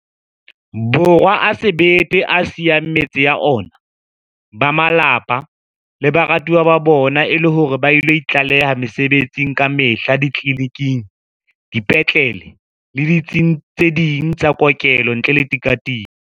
Borwa a sebete a siyang metse ya ona, ba malapa le baratuwa ba bona e le hore ba ilo itlaleha mesebetsing kamehla ditleliniking, dipetlele le ditsing tse ding tsa kokelo ntle le tika-tiko.